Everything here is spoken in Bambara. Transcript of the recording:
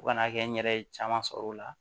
Fo ka n'a kɛ n yɛrɛ ye caman sɔrɔ o la